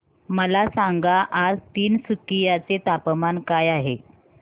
मला सांगा आज तिनसुकिया चे तापमान काय आहे